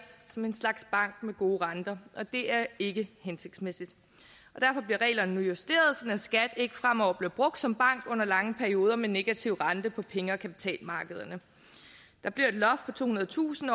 som en slags bank med gode renter det er ikke hensigtsmæssigt derfor bliver reglerne nu justeret sådan at skat ikke fremover bliver brugt som bank under lange perioder med negativ rente på penge og kapitalmarkederne der bliver et loft på tohundredetusind